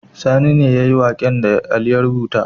Sani ne yayi waƙen da ali ya rubuta